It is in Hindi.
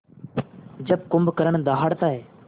जब कुंभकर्ण दहाड़ता है